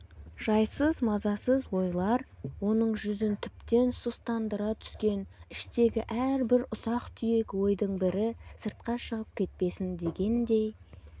жайсыз мазасыз ойлар оның жүзін тіптен сұстандыра түскен іштегі әрбір ұсақ-түйек ойдың бірі сыртқа шығып кетпесін дегендей